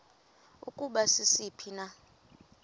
ukuba sisiphi na